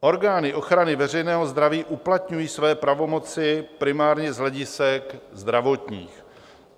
Orgány ochrany veřejného zdraví uplatňují své pravomoci primárně z hledisek zdravotních.